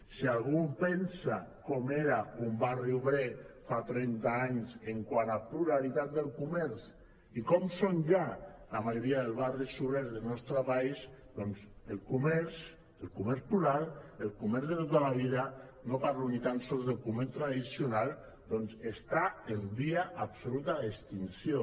si algú pensa com era un barri obrer fa trenta anys quant a pluralitat del co·merç i com són ja la majoria dels barris obrers del nostre país doncs el comerç el comerç plural el comerç de tota la vida no parlo ni tan sols de comerç tradicional doncs està en via absoluta d’extinció